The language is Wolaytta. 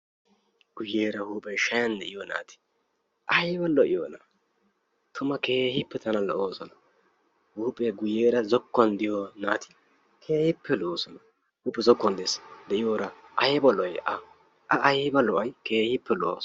guyeera huuphee shayan de'iyo naati ayba lo''iyona! Tuma keehippe tana lo''oosona. Huuphee guyeera zokkuwan diyo naati keehippe lo'oosona. Huuphee zokkuwan dees, de'iyora A ayba lo''ay! A keehippe lo"awusu.